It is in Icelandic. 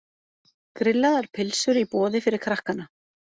Grillaðar pylsur í boði fyrir krakkana.